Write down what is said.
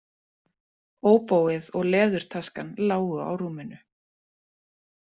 Óbóið og leðurtaskan lágu á rúminu.